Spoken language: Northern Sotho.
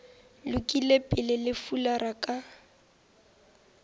lokile pele le fulara ka